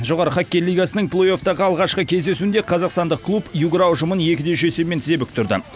жоғары хоккей лигасының плей оффтағы алғашқы кездесуінде қазақстандық клуб югра ұжымын екі үш есебімен тізе бүктірді